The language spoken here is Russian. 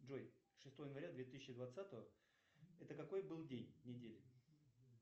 джой шестое января две тысячи двадцатого это какой был день недели